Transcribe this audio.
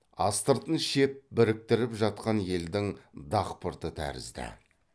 астыртын шеп біріктіріп жатқан елдің дақпырты тәрізді